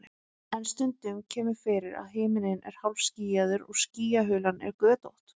en stundum kemur fyrir að himinninn er hálfskýjaður og skýjahulan er götótt